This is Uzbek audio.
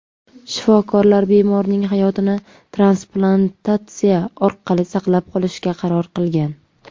Shifokorlar bemorning hayotini transplantatsiya orqali saqlab qolishga qaror qilgan.